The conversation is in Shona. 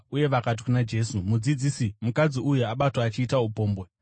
uye vakati kuna Jesu, “Mudzidzisi, mukadzi uyu abatwa achiita upombwe.